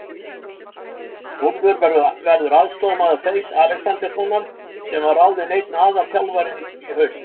Þórður verður aðstoðarmaður Freys Alexanderssonar sem var ráðinn einn aðalþjálfari í haust.